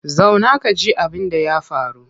Zauna ka ji abinda ya faru!